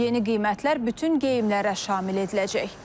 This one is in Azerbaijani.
Yeni qiymətlər bütün geyimlərə şamil ediləcək.